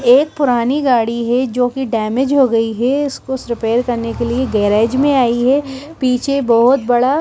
एक पुरानी गाड़ी है जो कि डैमेज हो गई है इसको रिपेयर करने के लिए गैरेज में आई है पीछे बहुत बड़ा---